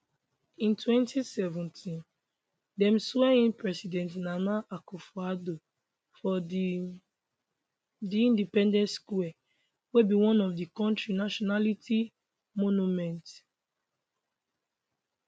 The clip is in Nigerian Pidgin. in 2017 dem swear in president nana akufoaddo for di di independence square wey be one of di kontri nationality monument